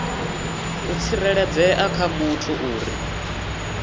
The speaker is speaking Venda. u tsireledzea ha muthu uri